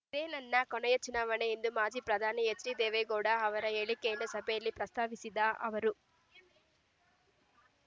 ಇದೇ ನನ್ನ ಕೊನೆಯ ಚುನಾವಣೆ ಎಂದು ಮಾಜಿ ಪ್ರಧಾನಿ ಹೆಚ್ಡಿ ದೇವೇಗೌಡ ಅವರ ಹೇಳಿಕೆಯನ್ನು ಸಭೆಯಲ್ಲಿ ಪ್ರಸ್ತಾಪಿಸಿದ ಅವರು